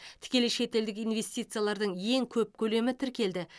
тікелей шетелдік инвестициялардың ең көп көлемі тіркелді